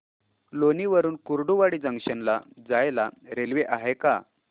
लोणी वरून कुर्डुवाडी जंक्शन ला जायला रेल्वे आहे का